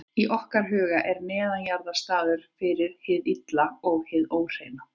Í okkar huga er neðanjarðar staður fyrir hið illa og hið óhreina.